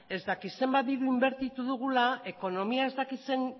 ez dakit zenbat diru inbertitu dugula ekonomiak ez dakit ze